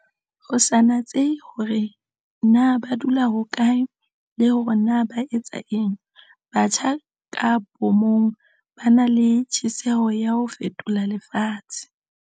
Ho sa natsehe hore na ba dula hokae le hore na ba etsa eng, batjha ka bomong ba na le tjheseho ya ho fetola lefatshe.